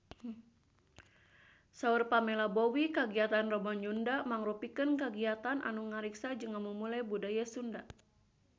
Saur Pamela Bowie kagiatan Rebo Nyunda mangrupikeun kagiatan anu ngariksa jeung ngamumule budaya Sunda